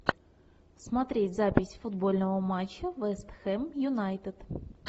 смотреть запись футбольного матча вест хэм юнайтед